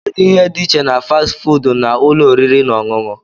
Kedu ihe dị iche na fasti fuudu na ụlọ oriri na ọṅụṅụ?